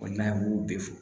n'a ye m'o bɛɛ fɔ